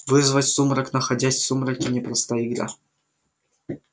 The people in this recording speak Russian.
вызвать сумрак находясь в сумраке непростая игра